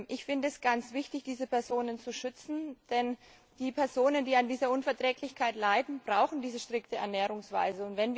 Ich finde es ganz wichtig, diese Personen zu schützen, denn die Personen, die an dieser Unverträglichkeit leiden, brauchen diese strikte Ernährungsweise.